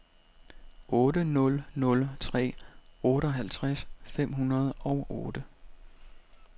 otte nul nul tre otteoghalvtreds fem hundrede og otte